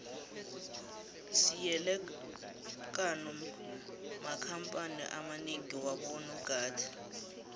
siele kano makhamphani amanengi wabo nogada